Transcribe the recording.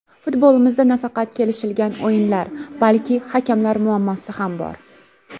Futbolimizda nafaqat kelishilgan o‘yinlar, balki hakamlar muammosi ham bor.